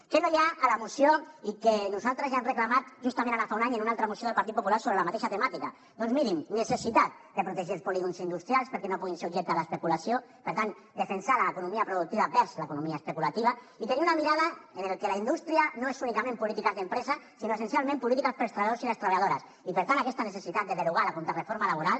què no hi ha a la moció i que nosaltres ja hem reclamat justament ara fa un any en una altra moció del partit popular sobre la mateixa temàtica doncs mirin necessitat de protegir els polígons industrials perquè no puguin ser objecte de l’especulació per tant defensar l’economia productiva versus l’economia especulativa i tenir una mirada en la que la indústria no és únicament polítiques d’empresa sinó essencialment polítiques per als treballadors i les treballadores i per tant aquesta necessitat de derogar la contrareforma laboral